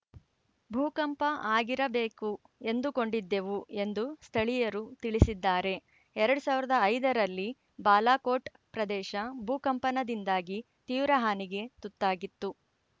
ಭೂಕಂಪ ಆಗಿರಬೇಕು ಎಂದುಕೊಂಡಿದ್ದೆವು ಎಂದು ಸ್ಥಳೀಯರು ತಿಳಿಸಿದ್ದಾರೆ ಎರಡ್ ಸಾವಿರದ ಐದರಲ್ಲಿ ಬಾಲಾಕೋಟ್‌ ಪ್ರದೇಶ ಭೂಕಂಪನದಿಂದಾಗಿ ತೀವ್ರ ಹಾನಿಗೆ ತುತ್ತಾಗಿತ್ತು